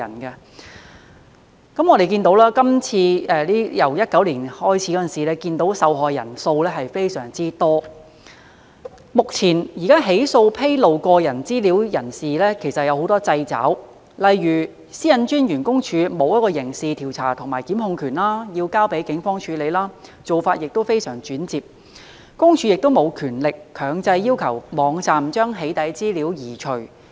由2019年開始，我們看見受害人數非常多，目前起訴披露個人資料的人士時其實有很多掣肘，例如私隱公署沒有刑事調查權和檢控權，須交警方處理，做法非常轉折，私隱公署亦沒有權力強制要求網站將"起底"資料移除。